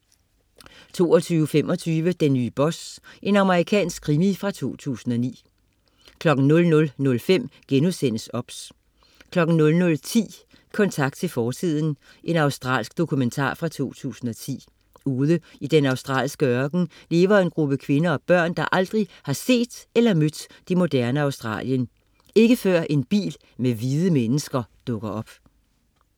22.25 Den nye boss. Amerikansk krimi fra 2009 00.05 OBS* 00.10 Kontakt til fortiden. Australsk dokumentar fra 2010. Ude i den australske ørken lever en gruppe kvinder og børn, der aldrig har set eller mødt det moderne Australien. Ikke før en bil med hvide mennesker dukker op